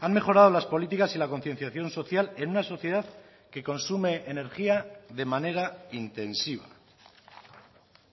han mejorado las políticas y la concienciación social en una sociedad que consume energía de manera intensiva